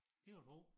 Det kan du tro